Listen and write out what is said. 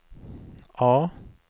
A